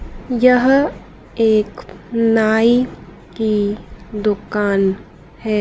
यह एक नाई की दुकान है।